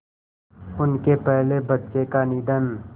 उनके पहले बच्चे का निधन